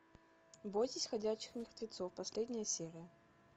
бойтесь ходячих мертвецов последняя серия